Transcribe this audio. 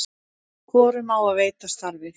hvorum á að veita starfið